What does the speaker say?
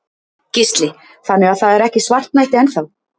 Gísli: Þannig að það er ekki svartnætti enn þá?